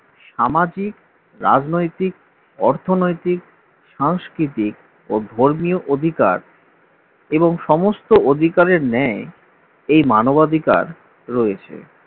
সামাজিক রাজনৈতিক অর্থনৈতিক সাংস্কৃতিক ও ধর্মীয় অধিকার এবং সমস্ত অধিকারের নেয় এই মানবাধিকার রয়েছে